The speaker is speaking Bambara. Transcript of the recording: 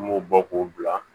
An b'o bɔ k'o bila